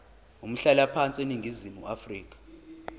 umhlalaphansi eningizimu afrika